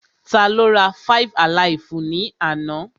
Tá ló rá five-alaifu ni àna?